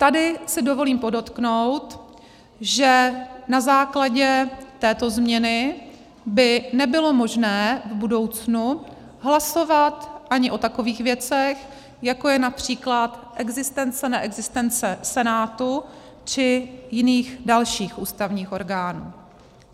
Tady si dovolím podotknout, že na základě této změny by nebylo možné v budoucnu hlasovat ani o takových věcech, jako je například existence, neexistence Senátu či jiných dalších ústavních orgánů.